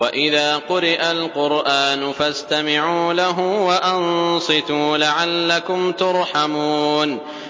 وَإِذَا قُرِئَ الْقُرْآنُ فَاسْتَمِعُوا لَهُ وَأَنصِتُوا لَعَلَّكُمْ تُرْحَمُونَ